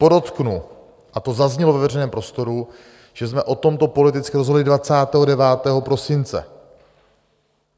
Podotknu, a to zaznělo ve veřejném prostoru, že jsme o tomto politicky rozhodli 29. prosince.